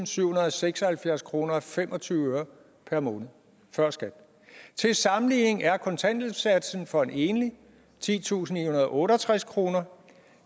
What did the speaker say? syvhundrede og seksoghalvfjerds kroner og fem og tyve øre per måned før skat til sammenligning er kontanthjælpssatsen for en enlig titusinde og otteogtreds kroner